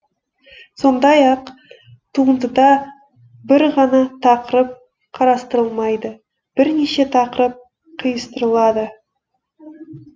сондай ақ туындыда бір ғана тақырып қарастырылмайды бірнеше тақырып қиыстырылады